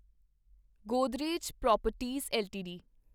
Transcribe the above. Godrej properties LTD